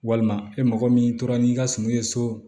Walima e mɔgɔ min tora n'i ka suman ye so